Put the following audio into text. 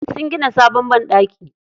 Sun gina sabon banɗaki.